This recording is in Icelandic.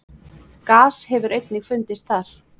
Gas hefur einnig fundist þar.